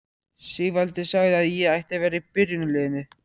Sigvaldi sagði að ég ætti að vera í byrjunarliðinu!